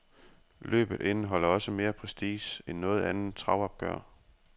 Løbet indeholder også mere prestige end noget andet travopgør.